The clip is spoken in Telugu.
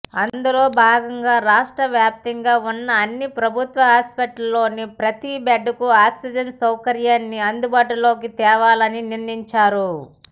అందులో భాగంగా రాష్ట్రవ్యాప్తంగా వున్న అన్ని ప్రభుత్వ ఆస్పత్రుల్లోని ప్రతీ బెడ్కు ఆక్సిజన్ సౌకర్యాన్ని అందుబాటులోకి తేవాలని నిర్ణయించారు